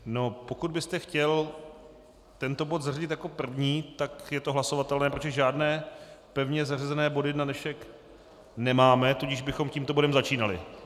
Pokud byste chtěl tento bod zařadit jako první, tak je to hlasovatelné, protože žádné pevně zařazené body na dnešek nemáme, tudíž bychom tímto bodem začínali.